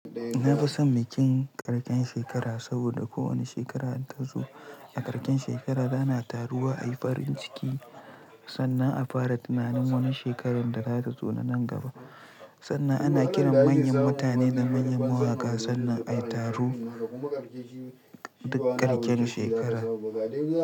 Na fi son bikin ƙarshen shekara saboda kowane shekara da ta zo a ƙarshen shekara ana taruwa ayi farin ciki sannan a fara tunanin wani shekarar da za ta zo na nan gaba sannan ana kiran manyan mutane na manyan mawaƙa sannan ayi taro duk ƙarken shekara.